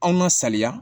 Anw nasaliya